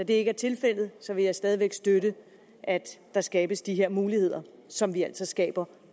det ikke er tilfældet vil jeg stadig væk støtte at der skabes de her muligheder som vi altså skaber